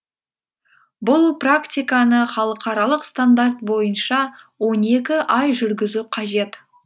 бұл практиканы халықаралық стандарт бойынша он екі ай жүргізу қажет